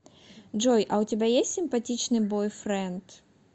джой а у тебя есть симпатичный бойфренд